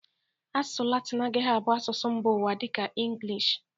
Asụsụ latin agaghi abụ asụsụ mba ụwa dịka ịngịlịsh.